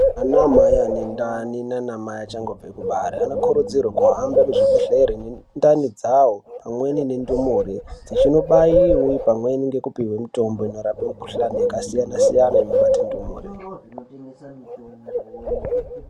Ana mai ane ndani nana mai achangobve kubare ano kurudzirwa ku hambe ku zvibhedhleri ne ndani dzawo amweni ne ndumure dzichino baiwe pamweni neku pihwe mitombo ino rape mikuhlani yaka siyana siyana ino bate ndumure.